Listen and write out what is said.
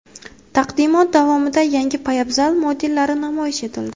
Taqdimot davomida yangi poyabzal modellari namoyish etildi.